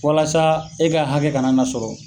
Walasa e ka hakɛ kana na sɔrɔ.